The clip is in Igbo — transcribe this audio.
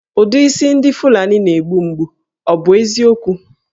Ụdị isi ndị Fulani na-egbu mgbu, ọ bụ eziokwu?